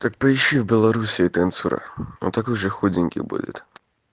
так поищи в белоруссии танцора он такой же худенький будет